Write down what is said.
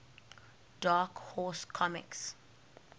dark horse comics